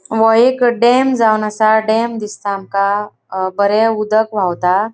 वो एक डैम जावन आसा डैम दिसता आमका अ बरे उदक वावता.